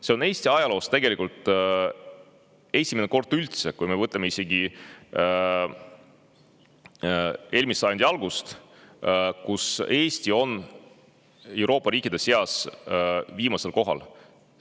Kui me arvestame aega eelmise sajandi algusest, siis see on Eesti ajaloos tegelikult üldse esimene kord, kui Eesti on Euroopa riikide seas viimasel kohal.